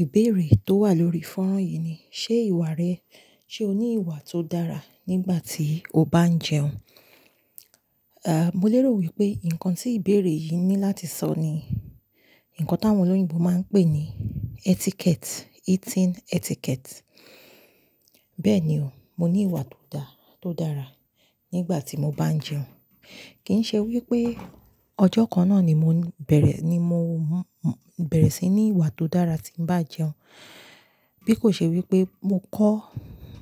Ìbéèrè tó wà lórí fọ́nrán yìí ni, ṣe ìwà rẹ, ṣe o ní ìwà tó dára nígbà tí o bá ń jẹun? A, mo lérò wípé nǹkan tí ìbéèrè yìí ní láti sọ ni, nnkan tí àwọn olóyìnbo máa ń pè ní etiquette, eating etiquette. Bẹ́ẹ̀ni o, mo ní ìwà tó dára nígbà tí mo bá ń jẹun. Kì í ṣe wípé ọjọ́ kan náà ni mò ń bẹ̀rẹ̀, ni mo bẹ̀rẹ̀ sí ní ìwà tó dára tí ń bá jẹun. Bí kò ṣe wípé mo kọ́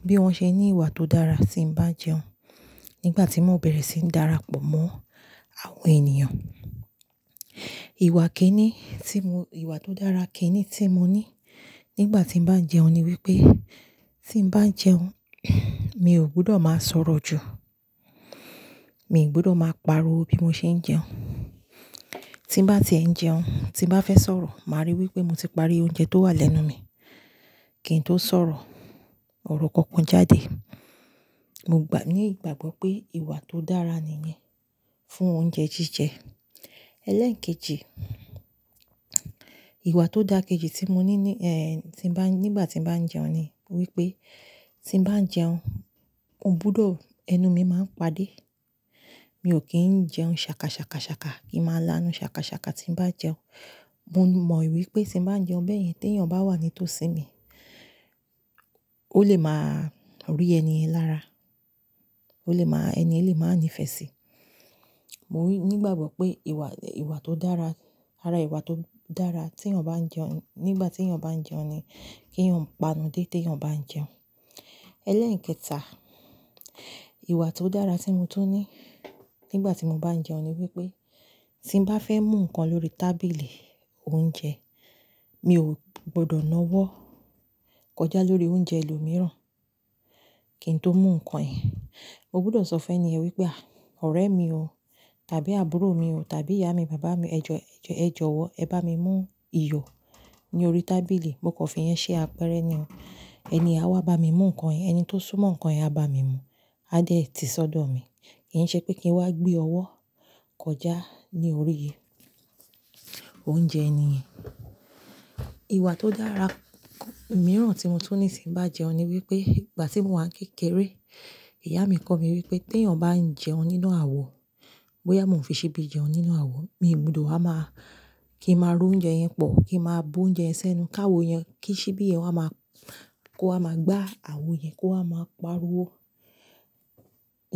bí wón ṣe ní ìwà tó dára tí ń bá jẹun nígbà tí mò ń bẹ̀rẹ̀ sí ń darapọ̀ mọ́ àwọn ènìyàn. Ìwà kíni tí mò, ìwà tó dára kíni tí mo ní nígbà tí ń bá jẹun ni wípé tí ń bá jẹun, mi ò gbọdọ̀ máa sọ̀rọ̀ jù. Mi ò gbọdọ̀ máa pariwo bí mo ṣe ń jẹun. Tí bá tie ń jẹun, tí bá fẹ́ sọ̀rọ̀, màá ríi wípé mo ti parí oúnjẹ tó wà lẹ́nu mi kí n tó sọ̀rọ̀ ọ̀rọ̀ kankan jáde. Mo gbà, ní ìgbàgbọ́ pé ìwà tó dára nìyẹn fún oúnjẹ jíjẹ. Ẹlẹ́ekejì, ìwà tó dára kejì tí mo ní ní, ẹ́, tí ń bá, nígbà tí ń bá ń jẹun ni wípé tí ń bá ń jẹun, mò gbọdọ̀ ẹnu mi máa ń padé. Mi ò kí ń jẹun ṣàkà ṣàkà ṣàkà kín máa lánu ṣàkà ṣàkà tí ń bá jẹun. Mo mọ̀ wípé tí ń bá ń jẹun bẹ̀yẹn tí èèyàn bá wà nítòsí mi, ó lè máa rí ẹni yẹ̀ lára. Ó lè máa, ẹni yẹn lè máa ní ìfẹ́ sí i. Mo wí, ní ìgbàgbọ́ pé ìwà, ìwà tó dára, ara ìwà tó dára tí èèyàn bá ń jẹun, nígbà tí èèyàn bá ń jẹun ni kí èèyàn pa'nu dé tí èèyàn bá ń jẹun. Ẹlẹ́ekẹta, ìwà tó dára tí mo tún ní nígbà tí mo bá ń jẹun ni wípé tí ń bá fẹ́ mú nnkan lórí tábìlì oúnjẹ, mi ò gbọdọ̀ náwọ́ kọjá lórí oúnjẹ ẹlòmíràn kí n tó mú nnkan yen. Mo gbọdọ̀ sọ fún èèyàn wípé, à, ọ̀rẹ́ mi o tàbí àbúrò mi o tàbí ìyá mi, bàbá mi, ẹ jọ̀, ẹ jọ̀, ẹ jọ̀wọ́ ẹ bá mi mú iyọ̀ ní orí tábìlì. Mo kan fi yẹn ṣe àpẹẹrẹ nìyẹn. Ẹni yen à wá bá mi mú nnkan yẹn Ẹni tó súmọ̀ nnkan yẹn á bá mi mú, á dé tì sọ́dọ̀ mi. Kì í ṣe pé kí n wá gbé ọwọ́ kọjá ní orí oúnjẹ ẹni yen. Ìwà tó dára mìíràn tí mo tún ní tí ń bá jẹun ni wípé ìgbà tí mò ń wá kékeré, ìyá mi kọ mí wípé tí èèyàn bá ń jẹun nínú àwo, bóyá mo fi síbi jẹun nínú àwo, mi ò gbọdọ̀ wá máa kí n máa ro oúnjẹ yẹn pọ̀, kí n máa bu oúnjẹ yẹn sẹ́nu káwo yẹn, kí síbi yẹn wá máa kó a máa gbá àwo yẹn kó a máa pariwo.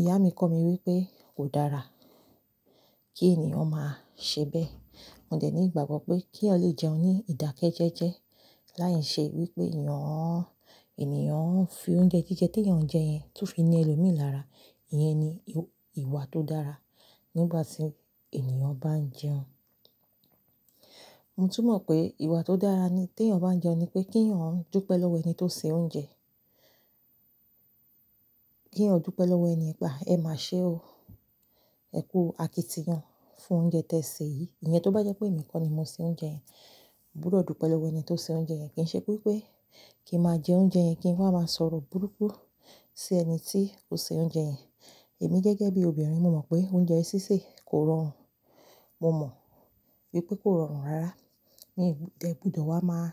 Ìyá mi kọ́ mi wípé kò dára kí ènìyàn máa ṣe bẹ́ẹ̀. Mo dẹ̀ ní ìgbàgbọ́ pé kí eeyan lè jẹun ní ìdákẹ́ jẹ́jẹ́ láì ṣe wípé èèyàn, ènìyàn ń fi oúnjẹ jíjẹ tí èèyàn ń jẹ yẹn tó fi ni ẹlòmíràn lára. Ìyẹn ni ìwà tó dára nígbà tí ènìyàn bá ń jẹun. Mo tún mọ̀ pé ìwà tó dára ní tí èèyàn bá ń jẹun ni pé kí èèyàn ń dúpẹ́ lọ́wọ́ ẹni tó ń ṣe oúnjẹ. Kí èèyàn dúpẹ́ lọ́wọ́ ẹni yen pe a, ẹ má ṣe o. Ẹ kú àkítìyan fún oúnjẹ tí ẹ sè yìí. Ìyẹn tó bá jẹ́ pé èmi kọ́ ni mo sè oúnjẹ yẹn, mo gbodọ̀ dúpẹ́ lọ́wọ́ ẹni tó sè oúnjẹ yẹn. Kì í ṣe wípé kí n máa jẹ oúnjẹ yẹn kí ń wá máa sọ̀rọ̀ búrúkú sí ẹni tí ó sè oúnjẹ yẹn. Èmi gẹ́gẹ́ bí obìnrin, mo mọ̀ pé oúnjẹ sísè kò rọrùn. Mo mọ̀ wípé kò rọrùn rárá. Ní ìgb-- dè, gbọdọ̀ wá máa,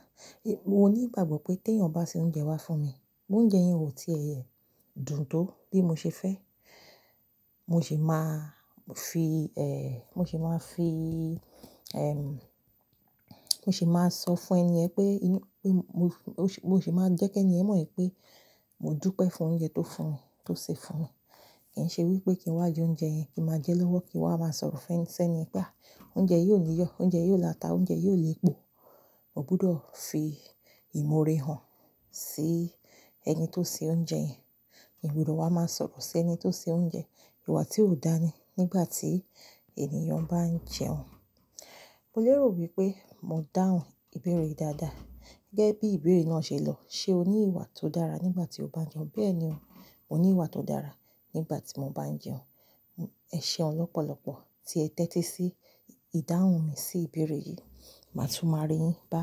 mo ní ìgbàgbọ́ pé tí èèyàn bá ṣe oúnjẹ wá fún mi, bóúnjẹ yẹn ò tí a dún tó bí mo ṣe fẹ́, mo sì máa fi, ẹ́, mo sì máa fi, ẹ́, mo sì máa sọ fún ẹni yen pé inú, pé mo sì, mo sì máa jẹ́ kí ẹni yẹ̀n mọ̀ wípé mo dúpẹ́ fún oúnjẹ tó fún mi, tó sè fún mi. Kì í ṣe wípé kí n wá jẹ oúnjẹ yẹn kí n máa jẹ lọ́wọ́ kí n wá máa sọ̀rọ̀ fún ẹ sẹ́ni pé à, oúnjẹ yìí ò ní yọ, oúnjẹ yìí ò láta, oúnjẹ yìí ò lè pọ̀. Mo gbọdọ̀ fi ìmọ̀ore hàn sí ẹni tó sè oúnjẹ yẹn. Mi o gbọdọ̀ wá máa sọ̀rọ̀ sí ẹni tó sè oúnjẹ. Ìwà tí ò dáa ni nígbà tí ènìyàn bá ń jẹun. Mo lérò wípé mo dáhùn ìbéèrè rẹ yi dáadáa. Gẹ́gẹ́ bí ìbéèrè náà ṣe lọ, ṣe o ní ìwà tó dára nígbà tí o bá ń jẹun? Bẹ́ẹ̀ni o, mo ní ìwà tó dára nígbà tí mo bá ń jẹun. Ẹ ṣeun ọ lọ́pọ̀lọpọ̀ tí ẹ tẹ́tí sí ìdáhùn mi sí ìbéèrè yìí. Màá tún máa rí yín bá.